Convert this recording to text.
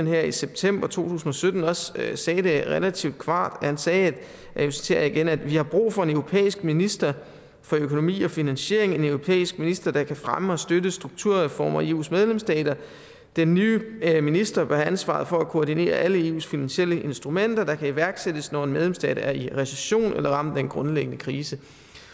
her i september to tusind og sytten også sagde det relativt klart han sagde og nu citerer jeg igen at vi har brug for en europæisk minister for økonomi og finansiering en europæisk minister der kan fremme og støtte strukturreformer i eus medlemsstater den nye minister bør have ansvaret for at koordinere alle eus finansielle instrumenter der kan iværksættes når en medlemsstat er i recession eller ramt af en grundlæggende krise